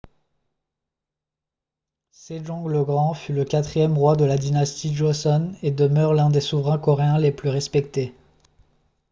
sejong le grand fut le quatrième roi de la dynastie joseon et demeure l'un des souverains coréens les plus respectés